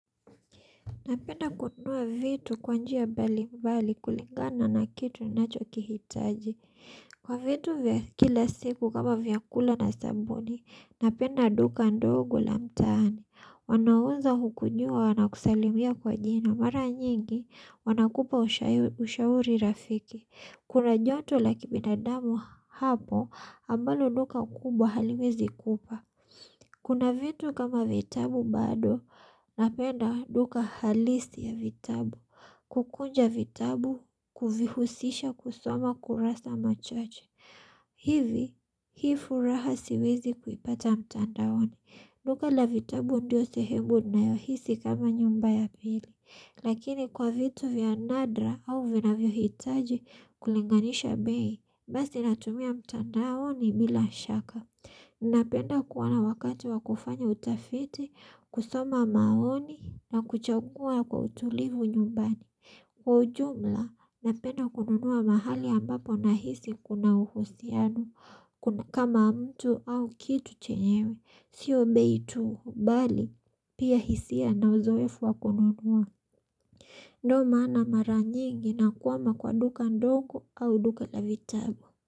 Napenda kununua vitu kwa njia mbali mbali kulingana na kitu ninachokihitaji kwa vitu vya kila siku kama vyakula na sabuni, napenda duka ndogo la mtaani. Wanaweza kukujua wanakusalimia kwa jina mara nyingi wanakupa ushauri rafiki. Kuna joto la kibinadamu hapo ambalo duka kubwa haliwezi kupa. Kuna vitu kama vitabu bado, napenda duka halisi ya vitabu, kukunja vitabu, kuvihusisha kusoma kurasa machache. Hivi, hii furaha siwezi kuipata mtandaoni. Duka la vitabu ndiyo sehemu ninayohisi kama nyumba ya pili. Lakini kwa vitu vya nadra au vinavyohitaji kulinganisha bei, basi natumia mtandaoni bila shaka. Napenda kuwa na wakati wa kufanya utafiti, kusoma maoni na kuchagua kwa utulivu nyumbani. Kwa ujumla, napenda kununua mahali ambapo nahisi kuna uhusiano kama mtu au kitu chenyewe. Sio bei tu, bali pia hisia na uzoefu wa kununua. Ndio maana mara nyingi nakwama kwa duka ndogo au duka la vitabu.